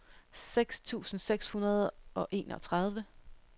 seks tusind seks hundrede og enogtredive